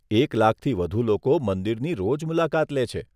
એક લાખથી વધુ લોકો મંદિરની રોજ મુલાકાત લે છે.